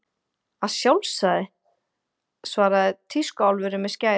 Að sjálfsögðu, svaraði tískuálfurinn með skærin.